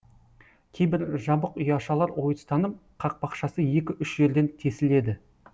кейбір жабық ұяшалар ойыстанып қақпақшасы екі үш жерден тесіледі